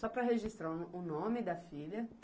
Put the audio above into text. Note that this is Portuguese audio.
Só para registrar o o nome da filha.